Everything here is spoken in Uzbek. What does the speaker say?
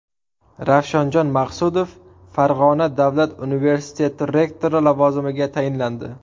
Ravshanjon Maqsudov Farg‘ona davlat universiteti rektori lavozimiga tayinlandi.